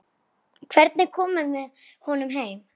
Hvernig komum við honum heim?